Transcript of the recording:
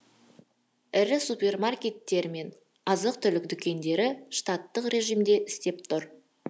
ірі супермаркеттер мен азық түлік дүкендері штаттық режимде істеп тұр